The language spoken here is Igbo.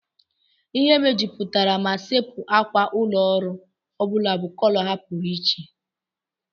Ihe mejupụtara ma sepu ákwà ụlọ ọrụ ọ bụla bụ kọlọ ha pụrụ iche.